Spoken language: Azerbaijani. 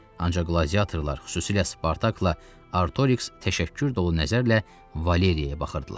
Ancaq qladiyatorlar, xüsusilə Spartakla Artoiks təşəkkür dolu nəzərlə Valeriyaya baxırdılar.